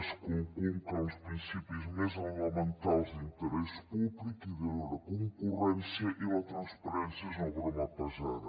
es conculca els principis més elementals d’interès públic i de lliure concurrència i la transparència és una broma pesada